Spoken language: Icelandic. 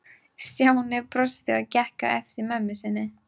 Stjáni brosti og gekk á eftir mömmu inn.